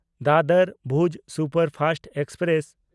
Dadar Bhuj superfast express